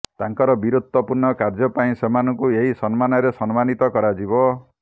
ତାଙ୍କର ବୀରତ୍ୱପୂର୍ଣ୍ଣ କାର୍ଯ୍ୟ ପାଇଁ ସେମାନଙ୍କୁ ଏହି ସମ୍ମାନରେ ସମ୍ମାନୀତ କରାଯିବ